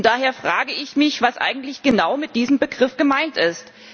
Daher frage ich mich, was eigentlich genau mit diesem Begriff gemeint ist.